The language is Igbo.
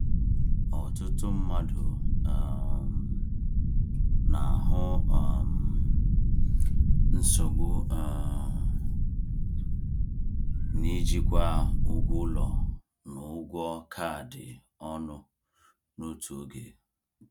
Ọtụtụ mmadụ um na-ahụ um nsogbu um n’ijikwa ụgwọ ụlọ na ụgwọ kaadị ọnụ n’otu oge.